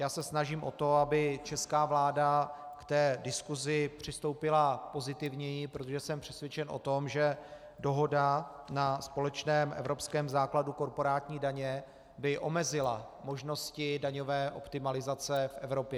Já se snažím o to, aby česká vláda k té diskusi přistoupila pozitivněji, protože jsem přesvědčen o tom, že dohoda na společném evropském základu korporátní daně by omezila možnosti daňové optimalizace v Evropě.